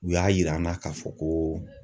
U y'a yir'an na k'a fɔ ko